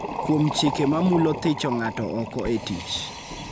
kuom chike ma mulo thicho ng�ato oko e tich